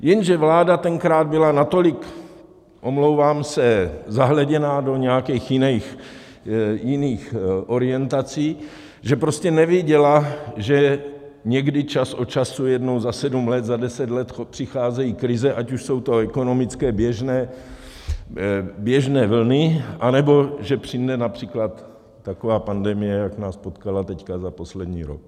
Jenže vláda tenkrát byla natolik - omlouvám se - zahleděná do nějakých jiných orientací, že prostě neviděla, že někdy, čas od času, jednou za sedm let, za deset let, přicházejí krize, ať už jsou to ekonomické, běžné vlny, anebo že přijde například taková pandemie, jak nás potkala teď za poslední rok.